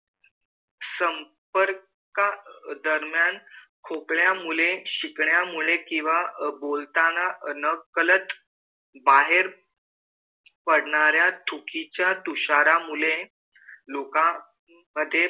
संपर्कादरम्यान खोकल्यामुळे, शिंकण्यामुळे, किंवा बोलताना नकळत बाहेर पडणाऱ्या थुकीच्या तुषारामुळे लोकांमधे,